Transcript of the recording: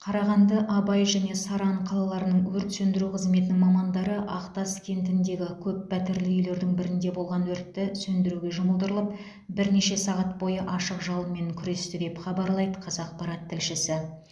қарағанды абай және саран қалаларының өрт сөндіру қызметінің мамандары ақтас кентідегі көппәтерлі үйлердің бірінде болған өртті сөндіруге жұмылдырылып бірнеше сағат бойы ашық жалынмен күресті деп хабарлайды қазақпарат тілшісі